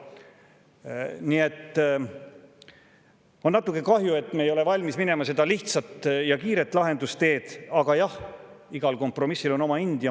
Nii et on natuke kahju, et me ei ole valmis minema mööda seda lihtsat ja kiiret lahendusteed, aga jah, igal kompromissil on oma hind.